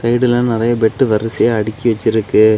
இதுல நறைய பெட்டு வரிசையா அடக்கி வச்சிருக்கு.